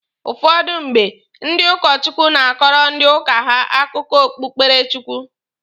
Ụfọdụ mgbe, ndị ụkọ Chukwu na-akọrọ ndị uka ha akụkọ okpụkpere Chukwu.